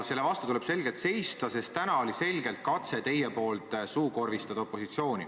Selle vastu tuleb seista, sest täna tegite te selge katse opositsiooni suukorvistada.